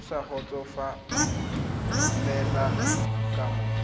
o sa kgotsofalela ka moo